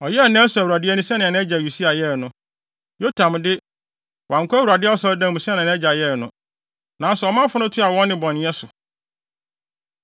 Ɔyɛɛ nea ɛsɔ Awurade ani sɛnea nʼagya Usia yɛe no. Yotam de, wankɔ Awurade Asɔredan mu sɛnea nʼagya yɛe no. Nanso ɔmanfo no toaa wɔn nnebɔneyɛ so.